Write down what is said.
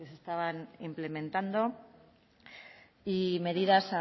que se estaban implementando y medidas